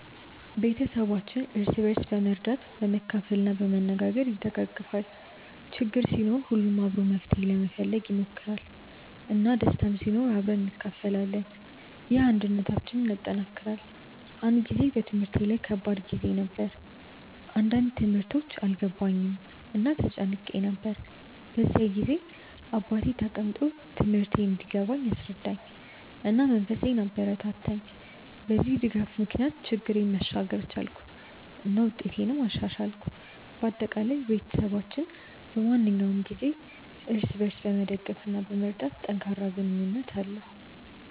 ቤተሰባችን እርስ በርስ በመርዳት፣ በመካፈል እና በመነጋገር ይደጋገፋል። ችግር ሲኖር ሁሉም አብሮ መፍትሄ ለመፈለግ ይሞክራል፣ እና ደስታም ሲኖር አብረን እንካፈላለን። ይህ አንድነታችንን ያጠናክራል። አንድ ጊዜ በትምህርቴ ላይ ከባድ ጊዜ ነበር፣ አንዳንድ ትምህርቶች አልገባኝም እና ተጨንቄ ነበር። በዚያ ጊዜ አባቴ ተቀምጦ ትምህርቴን እንዲገባኝ አስረዳኝ፣ እና መንፈሴን አበረታታኝ። በዚህ ድጋፍ ምክንያት ችግሬን መሻገር ቻልኩ እና ውጤቴንም አሻሻልኩ። በአጠቃላይ፣ ቤተሰባችን በማንኛውም ጊዜ እርስ በርስ በመደገፍ እና በመርዳት ጠንካራ ግንኙነት አለው።